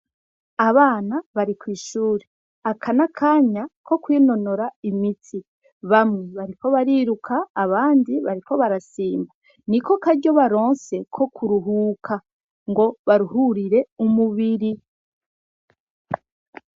Abana bari kwishure aka n'akanya ko kwinonora imitsi bamwe bariko bariruka abandi bariko barasimba niko karyo baronse ko kuruhuka ngo baruhurire umubiri.